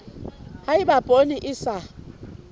ha eba poone e sa